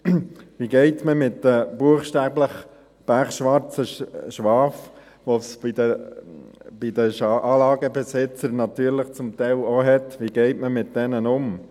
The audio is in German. Wie geht man mit den buchstäblich pechschwarzen Schafen, die es bei den Anlagenbesitzern natürlich zum Teil auch gibt, um?